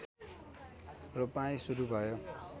रोपाइँ सुरु भयो